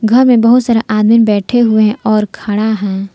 में बहोत सारा आदमी बैठे हुए हैं और खड़ा हैं।